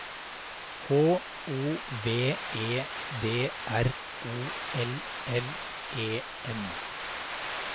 H O V E D R O L L E N